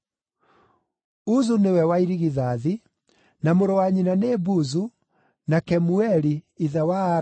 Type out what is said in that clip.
Uzu nĩwe wa irigithathi, na mũrũ wa nyina nĩ Buzu, na Kemueli (ithe wa Aramu),